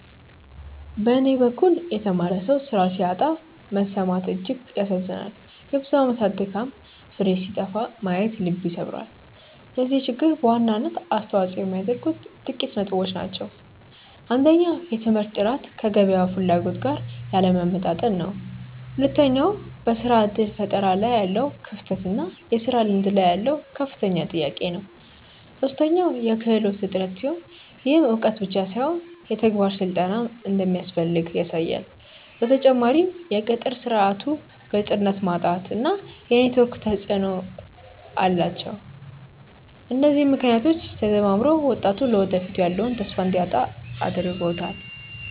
በኔ በኩል የተማረ ሰው ስራ ሲያጣ መሰማት እጅግ ያሳዝናል የብዙ አመታት ድካም ፍሬ ሲጠፋ ማየት ልብ ይሰብራል። ለዚህ ችግር በዋናነት አስተዋጽኦ የሚያደርጉት ጥቂት ነጥቦች ናቸው። አንደኛው የትምህርት ጥራት ከገበያው ፍላጎት ጋር ያለመጣጣም ነው። ሁለተኛው በስራ እድል ፈጠራ ላይ ያለው ክፍተት እና የስራ ልምድ ላይ ያለው ከፍተኛ ጥያቄ ነው። ሶስተኛው የክህሎት እጥረት ሲሆን፣ ይህም እውቀት ብቻ ሳይሆን የተግባር ስልጠናም እንደሚያስፈልግ ያሳያል። በተጨማሪም የቅጥር ስርዓቱ ግልጽነት ማጣት እና የኔትወርክ ተፅእኖ ተፅእኖ አላቸው። እነዚህ ምክንያቶች ተደማምረው ወጣቱ ለወደፊቱ ያለውን ተስፋ እንዲያጣ እያደረጉት ነው።